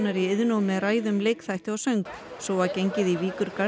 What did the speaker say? í Iðnó með ræðum leikþætti og söng svo var gengið í